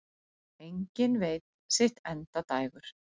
Enginn veit sitt endadægur.